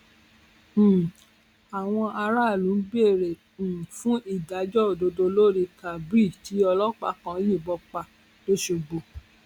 um àwọn aráàlú ń béèrè um fún ìdájọ òdodo lórí kábír tí ọlọpàá kan yìnbọn pa lọsogbò